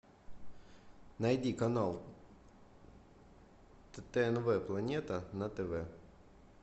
найди канал тнв планета на тв